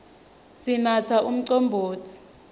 sinatsa umcombotsi